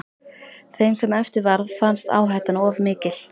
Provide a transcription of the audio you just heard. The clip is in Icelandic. Þeim sem eftir varð fannst áhættan of mikil.